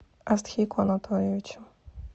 астхику анатольевичу